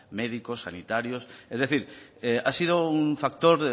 médicos sanitarios es decir ha sido un factor